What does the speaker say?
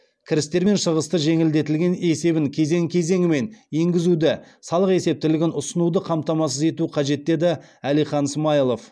кірістер мен шығыстар жеңілдетілген есебін кезең кезеңімен енгізуді салық есептілігін ұсынуды қамтамасыз ету қажет деді әлихан смайылов